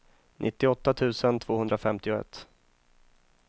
nittioåtta tusen tvåhundrafemtioett